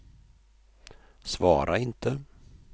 svara inte